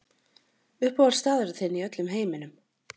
Uppáhalds staðurinn þinn í öllum heiminum?